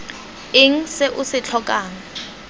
eng se o se tlhokang